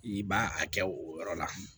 I b'a a kɛ o yɔrɔ la